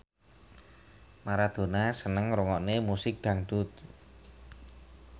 Maradona seneng ngrungokne musik dangdut